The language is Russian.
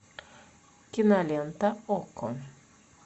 кинолента окко